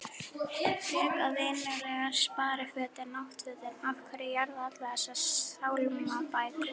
frekar vinnugallann sparifötin náttfötin af hverju jarða allar þessar sálmabækur?